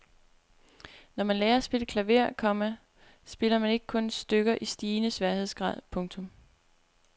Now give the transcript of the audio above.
Når man lærer at spille klaver, komma spiller man ikke kun stykker i stigende sværhedsgrad. punktum